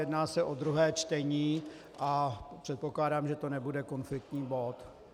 Jedná se o druhé čtení a předpokládám, že to nebude konfliktní bod.